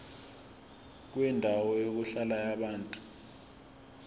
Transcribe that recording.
kwendawo yokuhlala yabantu